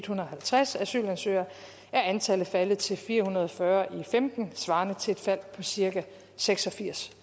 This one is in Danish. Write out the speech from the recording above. hundrede og halvtreds asylansøgere er antallet faldet til fire hundrede og fyrre i og femten svarende til et fald på cirka seks og firs